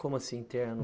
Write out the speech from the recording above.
Como assim, interno?